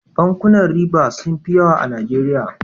Bankunan riba sun fi yawa a najeriya